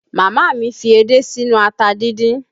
Màmá mi fi edé sínú ata díndín